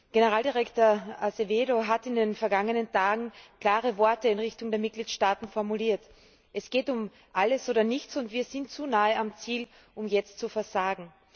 Generaldirektor Azevêdo hat in den vergangenen Tagen klare Worte in Richtung der Mitgliedstaaten formuliert Es geht um alles oder nichts, und wir sind zu nahe am Ziel, um jetzt zu versagen.